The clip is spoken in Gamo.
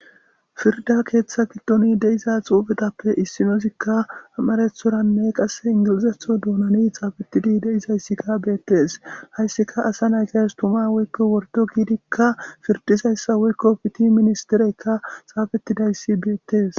Pirrda keththa giddon deiza xuffetappe issinozokka amarathorane qasse inggilizaththora doonan xaffetida deizayssika bettes hassika assa nayttas tumma woykko worddo giddika pirdizayssa woykko piitty ministireyka xaffetidaysi bettes.